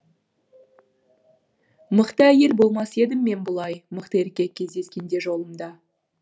мықты әйел болмас едім мен бұлай мықты еркек кездескенде жолымда